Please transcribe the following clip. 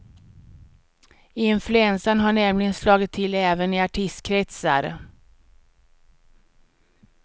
Influensan har nämligen slagit till även i artistkretsar.